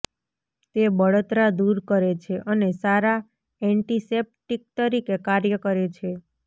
તે બળતરા દૂર કરે છે અને સારા એન્ટિસેપ્ટિક તરીકે કાર્ય કરે છે